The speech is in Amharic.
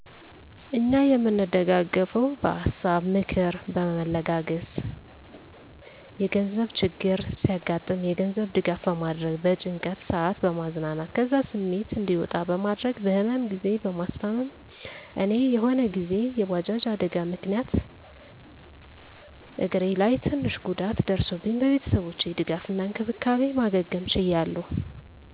እኛ የምንደጋገፈዉ በሀሳ(ምክር)በመለጋገስ፣ የገንዘብ ችግር ሲያገጥም የገንዘብ ድጋፍ በማድረግ፣ በጭንቀት ሰአት በማዝናናት ከዛ ስሜት እዲወጣ በማድረግ፣ በህመም ግዜ በማስታም፦ እኔ የሆነ ግዜ የባጃጅ አደጋ ምክንያት እግሬ ላይ ትንሽ ጉዳት ደርሶብኝ በቤተሰቦቼ ድጋፍ እና እንክብካቤ ማገገም ችያለሁ